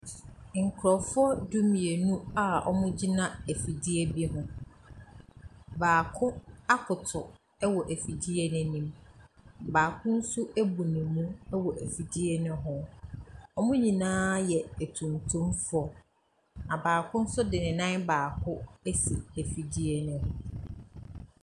Nkurɔfoɔ du-mmienu a wɔgyina afidie bi ho. Baako akoto wɔ afidie no anim. Baako nso abu ne mu wɔ afidie no ho. Wɔn nyinaa yɛ atuntumfoɔ, na baako nso de ne nan baako asi afidie no ho.